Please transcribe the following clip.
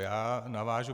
Já navážu.